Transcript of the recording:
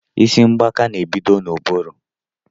Isi mgbaka n'ebido n'ụbụrụ